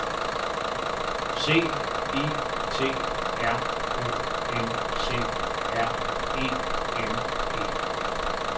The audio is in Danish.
C I T R O N C R E M E